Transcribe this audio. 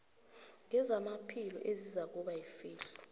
ngezamaphilo izakuba yifihlo